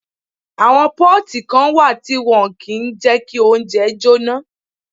Àwọn pọ́ọ̀tì kan wà tí wọ́n kìí jẹ kí oúnjẹ jóná